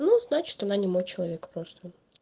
ну значит она не мой человек просто